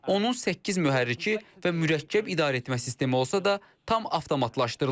Onun səkkiz mühərriki və mürəkkəb idarəetmə sistemi olsa da, tam avtomatlaşdırılıb.